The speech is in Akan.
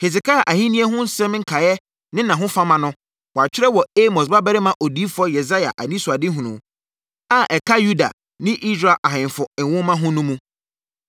Hesekia ahennie ho nsɛm nkaeɛ ne nʼahofama no, wɔatwerɛ wɔ Amos babarima odiyifoɔ Yesaia anisoadehunu a ɛka Yuda ne Israel ahemfo nwoma ho no mu.